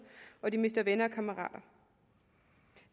og mister venner og kammerater